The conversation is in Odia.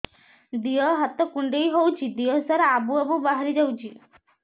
ଦିହ ହାତ କୁଣ୍ଡେଇ ହଉଛି ଦିହ ସାରା ଆବୁ ଆବୁ ବାହାରି ଯାଉଛି